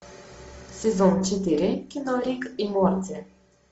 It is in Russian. сезон четыре кино рик и морти